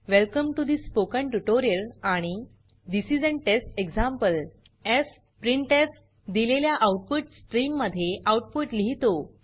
welcome to the spoken tutorial आणि this is an test example fprintf दिलेल्या output स्ट्रीममध्ये output लिहीतो